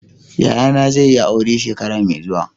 Yayana zai yi aure shekara mai zuwa.